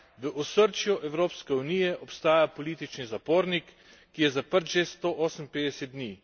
V osrčju Evropske unije obstaja politični zapornik, ki je zaprt že 158 dni.